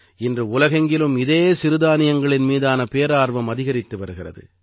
இன்று உலகெங்கிலும் இதே சிறுதானியங்களின் மீதான பேரார்வம் அதிகரித்து வருகிறது